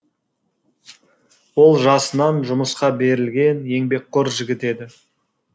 ол жасынан жұмысқа берілген еңбекқор жігіт еді